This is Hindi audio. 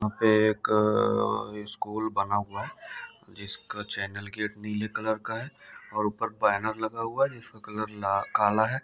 एक स्कूल बना हुआ है जिसका चैनल नीले रंग का है या ऊपर वाला लगा हुआ है वह जिसका रंग काला है।